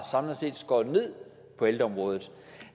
skåret ned på ældreområdet